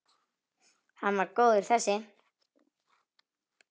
Hann var góður þessi!